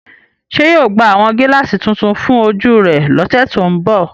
Ṣe yóò gba awọn gilaasi tuntun fun oju rẹ lọsẹ to nbọ?